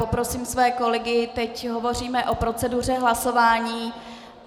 Poprosím své kolegy - teď hovoříme o proceduře hlasování...